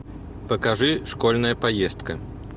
покажи школьная поездка